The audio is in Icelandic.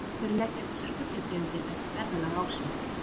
Af hverju leggja þessar fuglategundir þetta ferðalag á sig?